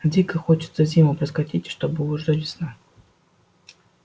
дико хочется зиму проскочить и чтобы уже весна